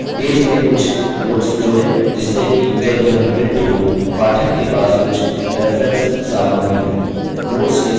page में कुछ notes जोड़ें जिससे कि जब यह printed हो पाठक के पास कुछ reference सामग्री हो